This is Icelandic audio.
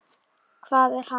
Hvað er hann?